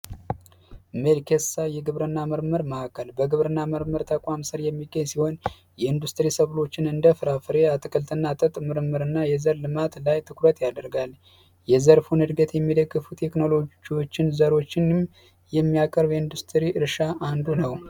የግብርና ምርምር ማዕከል በግብርና ምርምር ተቋም ሲሆን የኢንዱስትሪዎችን እንደ ፍራፍሬ ምርምርና የዘር ልማት ላይ ትኩረት ያደርጋል የዘርፉን እድገት የሚከፉት ቴክኖሎጂዎችን ዘሮችንም የሚያቀርዱ